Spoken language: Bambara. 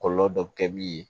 Kɔlɔlɔ dɔ bɛ kɛ min ye